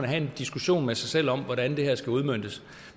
have en diskussion med sig selv om hvordan det her skal udmøntes